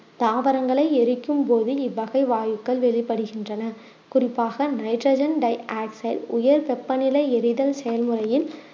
தாவரங்களை எரிக்கும் போது இவ்வகை வாயுக்கள் வெளிப்படுகின்றன குறிப்பாக நைட்ரஜன் டை ஆக்சைடு உயர் வெப்பநிலை எறிதல் செயல் முறையின்